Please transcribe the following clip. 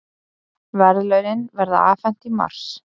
Verðlaunin verða afhent í mars